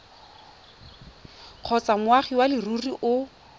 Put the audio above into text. kgotsa moagi wa leruri o